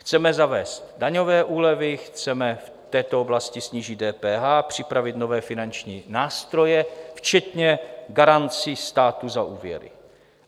Chceme zavést daňové úlevy, chceme v této oblasti snížit DPH, připravit nové finanční nástroje včetně garancí státu za úvěry.